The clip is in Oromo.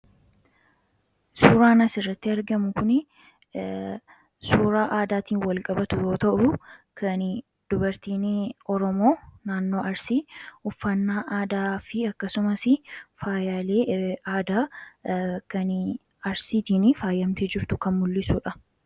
Suuraan asirratti argamu kun suuraa aadaatiin walqabtu yoo ta'u, kan dubartiin oromoo naannoo arsii uffannaa aadaa fi akkasumas faayaalee aadaa kan arsiitiin faayamtee jirtu kan mul'dhisudha.